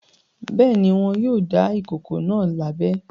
Bẹ́ẹ̀ ni, wọn yóò dá ìkókó náà lábẹ.